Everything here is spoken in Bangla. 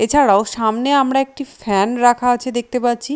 এছাড়াও সামনে আমরা একটি ফ্যান রাখা আছে দেখতে পাচ্ছি।